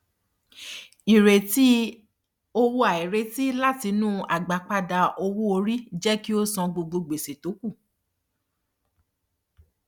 ìrètí owó àìrètí látinú agbápada owó orí jé kí ó san gbogbo gbèsè tó kù